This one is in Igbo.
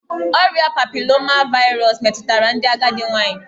Ọrịa papiloma vaịrus metụtara ndị agadi nwanyị